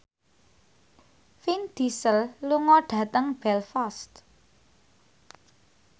Vin Diesel lunga dhateng Belfast